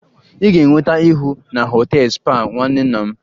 Ị ga-enweta ihu na họtel spa nwanne nna m